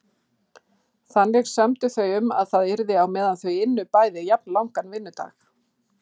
Þannig sömdu þau um að það yrði á meðan þau ynnu bæði jafnlangan vinnudag.